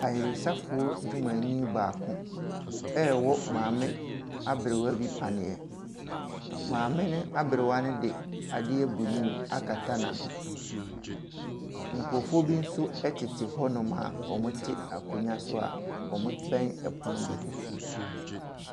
Ayaresafoɔ adwumayɛnii baako ɛrewɔ maame aberewa bi paneɛ. Maame ne aberewa no de adeɛ blue akata n'ano. Nkorɔfoɔ bi nso ɛtete hɔ nom a wɔte akonnwa soa wɔbɛn pono bi.